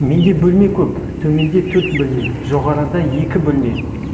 менде бөлме көп төменде төрт бөлме жоғарыда екі бөлме